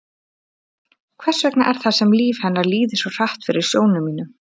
Hvers vegna er það sem líf hennar líði svo hratt fyrir sjónum mínum?